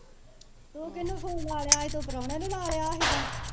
ਤੂੰ ਕੀਨੁ ਫੋਨ ਲਾ ਲਿਆ ਸੀ ਤੂੰ ਪਰੌਣੇ ਨੂੰ ਲੈ ਲਿਆ ਸੀਗਾ